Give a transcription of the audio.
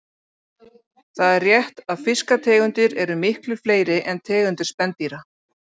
Það er rétt að fiskategundir eru miklu fleiri en tegundir spendýra.